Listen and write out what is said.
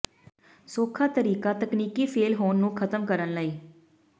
ਸੌਖਾ ਤਰੀਕਾ ਤਕਨੀਕੀ ਫੇਲ੍ਹ ਹੋਣ ਨੂੰ ਖ਼ਤਮ ਕਰਨ ਲਈ